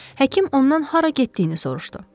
Həkim ondan hara getdiyini soruşdu.